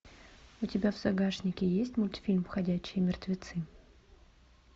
у тебя в загашнике есть мультфильм ходячие мертвецы